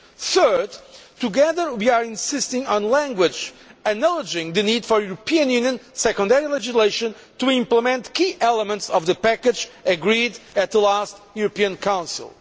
Third together, we are insisting on language acknowledging the need for the European Union secondary legislation to implement key elements of the package agreed at the last European Council.